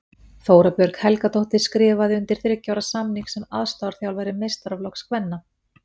Þóra Björg Helgadóttir skrifaði undir þriggja ára samning sem aðstoðarþjálfari meistaraflokks kvenna.